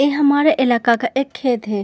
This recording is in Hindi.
ये हमारे इलाका का एक खेत है।